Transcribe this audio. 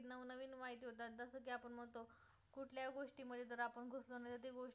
गोष्टी मध्ये जर आपण घुसलो नाही तर गोष्ट आपण